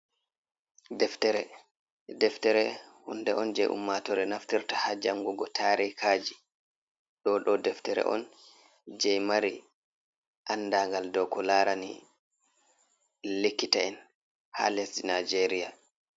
Deftere hunde on je ummatore naftirta ha jangugo tarikaji, do dom deftere on je mari andagal do ko larani likkita'en ha lesdi nijeria.